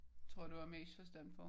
Det tror jeg du har mest forstand på